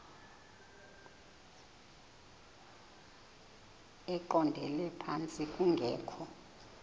eqondele phantsi kungekho